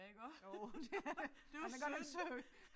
Jo det er det han er godt nok sød